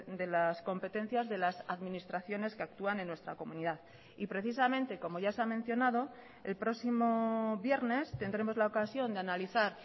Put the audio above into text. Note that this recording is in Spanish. de las competencias de las administraciones que actúan en nuestra comunidad y precisamente como ya se ha mencionado el próximo viernes tendremos la ocasión de analizar